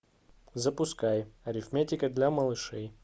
запускай арифметика для малышей